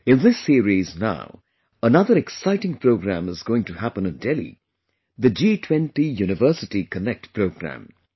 In this series now, another exciting program is going to happen in Delhi the 'G20 University Connect Programme'